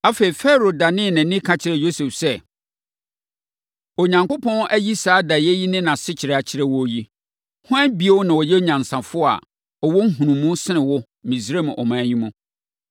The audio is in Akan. Afei, Farao danee nʼani ka kyerɛɛ Yosef sɛ, “Onyankopɔn ayi saa daeɛ yi ne nʼasekyerɛ akyerɛ wo yi, hwan bio na ɔyɛ onyansafoɔ a ɔwɔ nhunumu sene wo wɔ Misraim ɔman yi mu!